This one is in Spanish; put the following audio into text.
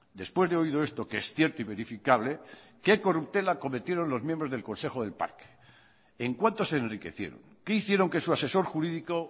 después de oído esto que es cierto y verificable qué corruptela cometieron los miembros del consejo del parque en cuánto se enriquecieron qué hicieron que su asesor jurídico